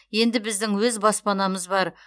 енді біздің өз баспанамыз бар